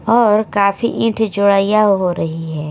और काफी ईट जोड़इया हो रही है।